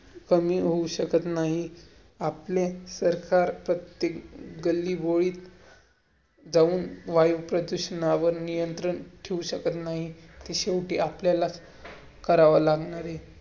कमी होऊ शकत नाही. आपले सरकार प्रत्येक गल्लीबोळीत जाऊन वायुप्रदूषणावर नियंत्रण ठेवू शकत नाही. शेवटी आपल्या करावं लागणार आहे.